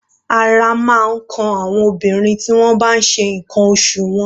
Ara máa ń kan àwọn obìnrin tí wọ́n bá n ṣe ǹkan oṣù wọn.